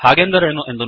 ಹಾಗಂದರೇನು